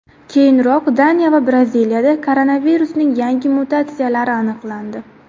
Keyinroq Daniya va Braziliyada koronavirusning yangi mutatsiyalari aniqlandi .